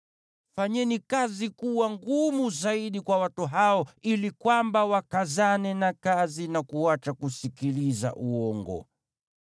Fanyeni kazi kuwa ngumu zaidi kwa watu hao ili kwamba wakazane na kazi na kuacha kusikiliza uongo.”